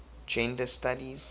gender studies